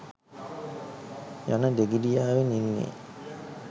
යන දෙගිඩියාවෙන් ඉන්නෙ.